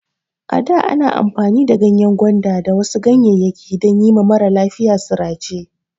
Ada ana amfani da ganyen gwanda da wasu ganyeyaki dan yima maralafiya sirace